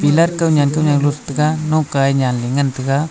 pillar kawnyan kawnyan lothega lokae nyanley ngan taiga.